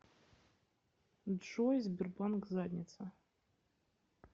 джой сбербанк задница